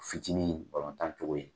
Fitinin tan cogo ye.